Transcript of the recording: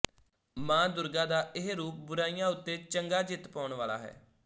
ਮਾਂ ਦੁਰਗਾ ਦਾ ਇਹ ਰੂਪ ਬੁਰਾਈਆਂ ਉੱਤੇ ਚੰਗਾ ਜਿੱਤ ਪਾਉਣ ਵਾਲਾ ਹੈ